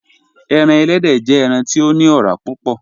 Ẹran èlẹ́dẹ jẹ̀ ẹran ti o ni ọ̀rà púpọ̀.